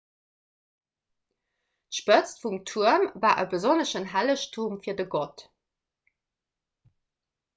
d'spëtz vum tuerm war e besonneschen hellegtum fir de gott